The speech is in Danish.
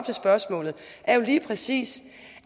til spørgsmålet er jo lige præcis